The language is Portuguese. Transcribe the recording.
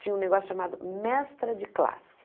Tinha um negócio chamado mestra de classe.